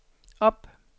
op